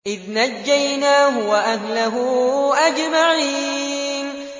إِذْ نَجَّيْنَاهُ وَأَهْلَهُ أَجْمَعِينَ